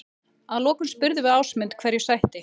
Að lokum spurðum við Ásmund hverju sætti?